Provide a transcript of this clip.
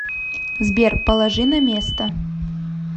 сбер положи на место